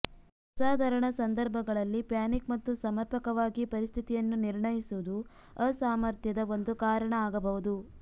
ಅಸಾಧಾರಣ ಸಂದರ್ಭಗಳಲ್ಲಿ ಪ್ಯಾನಿಕ್ ಮತ್ತು ಸಮರ್ಪಕವಾಗಿ ಪರಿಸ್ಥಿತಿಯನ್ನು ನಿರ್ಣಯಿಸುವುದು ಅಸಾಮರ್ಥ್ಯದ ಒಂದು ಕಾರಣ ಆಗಬಹುದು